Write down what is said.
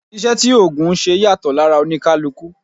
Iṣẹ́ tí ògùn ńṣe yàtọ̀ lára oníkálukú